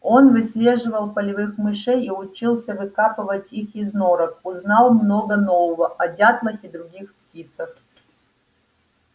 он выслеживал полевых мышей и учился выкапывать их из норок узнал много нового о дятлах и других птицах